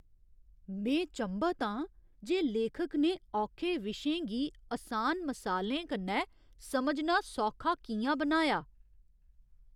में चंभत आं जे लेखक ने औखे विशें गी असान मसालें कन्नै समझना सौखा कि'यां बनाया ।